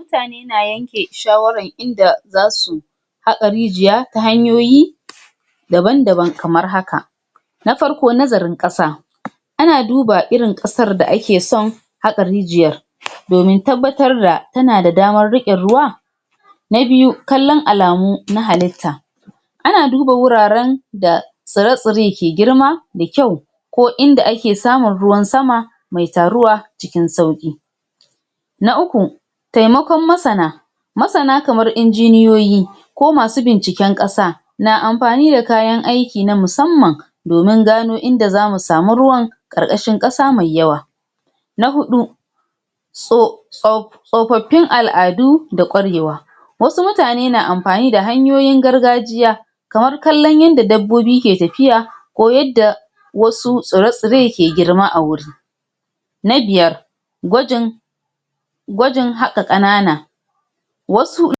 Mutane na yanke shawaran inda zasu haƙa rijiya ta hanyoyi daban daban kamar haka: Na farko nazarin ƙasa ana duba irin ƙasar da ake san haƙa rijiyar, domin tabbatar da tana da damar riƙe ruwa. Na biyu: Kallan alamu na halitta ana duba wuraren da tsire-tsire ke girma da kyau ko inda ake samun ruwa sama me taruwa cikin sauƙi. Na uku: Taimakon masana masana kamar injiniyoyi ko masu binciken ƙasa na amfani da kayan aiki na musamman domin gano inda zamu samu ruwan ƙarƙashin ƙasa mai yawa. Na huɗu: Tso tsof Tsofaffin al'adu da ƙwarewa wasu mutane na amfani da hanyoyin gargajiya kamar kallan yadda dabbobi ke tafiya ko yadda wasu tsire-tsire ke girma a wuri. Na biyar: Gwajin gwajin haƙa ƙanana wasu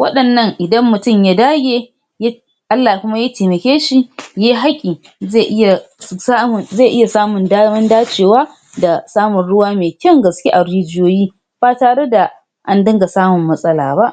waɗannan idan mutin ya dage Allah kuma ya temake shi yai haƙi ze iya samun ze iya samun daman dacewa da samun ruwa me kyan gaske a rijiyoyi ba tare da an dinga samun matsala ba.